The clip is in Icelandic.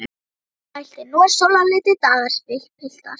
Björn mælti: Nú eru sólarlitlir dagar, piltar!